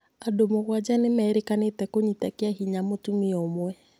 Andũ mũgwanja nĩ merĩkanĩte kũnyita kĩahinya mũtumia umwe